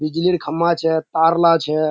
बिजलीर खम्बा छे तारला छे।